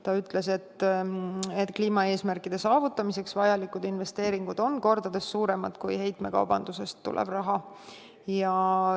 Ta ütles, et kliimaeesmärkide saavutamiseks vajalikud investeeringud on kordades suuremad kui heitmekaubandusest tulev raha.